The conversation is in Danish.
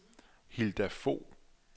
Hilda Fogh